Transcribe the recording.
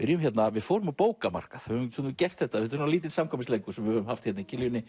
við fórum á bókamarkað höfum stundum gert þetta þetta er lítill samkvæmisleikur sem við höfum haft í